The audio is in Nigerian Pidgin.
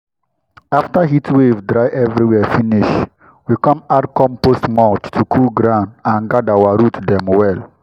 after heatwave dry everywhere finish we come add compost mulch to cool ground and guard our root dem well.